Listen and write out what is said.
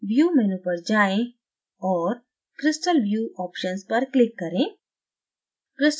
view menu पर जाएं और crystal view options पर click करें